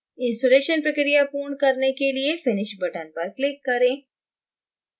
installation प्रक्रिया पूर्ण करने के लिए finish button पर click करें